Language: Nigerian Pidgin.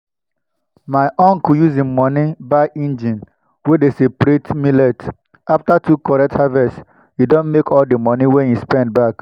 my uncle use him money buy engine wey dey separate millet. after two correct harvest e don make all the money wey e spend back.